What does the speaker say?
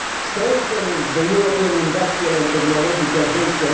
strengthening the European industrial and technological base